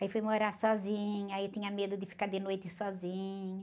Aí fui morar sozinha, aí eu tinha medo de ficar de noite sozinha.